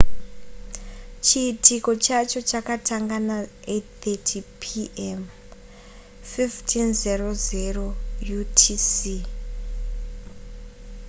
chiitiko chacho chakatanga na8:30 p. m. 15.00 utc